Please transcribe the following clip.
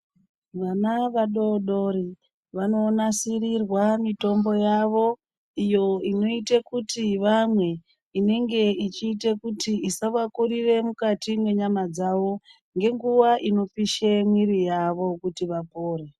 Vana vadodori, vanonasirirwa mitombo yavo ,iyo inoite kuti vamwe, inenge ichiita kuti isavakurira mukati menyama dzavo ngenguwa inopisha miri yavo kuti vapone.